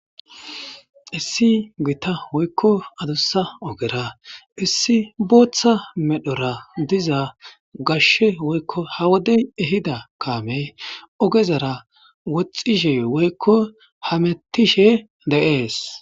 issi gita woykko adussa ogera issi booththa medhora diza gashshe woykko ha wodey ehida kaamey ogezara woxxishe woykko hamettishe de'ees